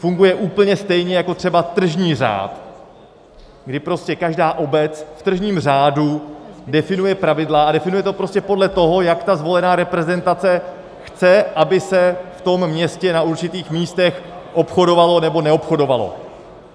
Funguje úplně stejně jako třeba tržní řád, kdy prostě každá obec v tržním řádu definuje pravidla, a definuje to prostě podle toho, jak ta zvolená reprezentace chce, aby se v tom městě na určitých místech obchodovalo, nebo neobchodovalo.